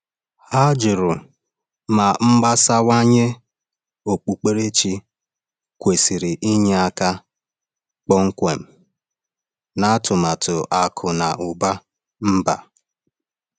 Ha jụrụ ma mgbasawanye okpukperechi kwesịrị inye aka kpọmkwem na atụmatụ akụ na ụba mba.